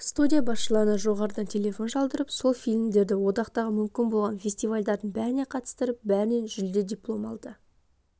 студия басшыларына жоғарыдан телефон шалдырып сол фильмідерді одақтағы мүмкін болған фестивальдардың бәріне қатыстырып бәрінен жүлде диплом алды